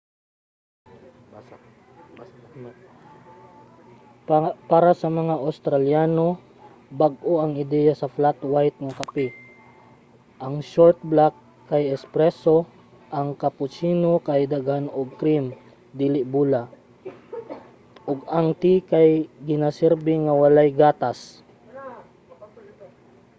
para sa mga australiano bag-o ang ideya sa 'flat white' nga kape. ang short black kay 'espresso' ang cappuccino kay daghan ug cream dili bula ug ang tea kay ginasirbi nga walay gatas